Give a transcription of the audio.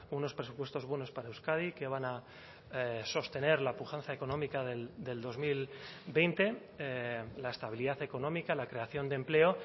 unos presupuestos buenos para euskadi que van a sostener la pujanza económica del dos mil veinte la estabilidad económica la creación de empleo